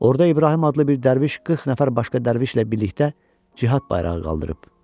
Orda İbrahim adlı bir dərviş 40 nəfər başqa dərvişlə birlikdə cihad bayrağı qaldırıb.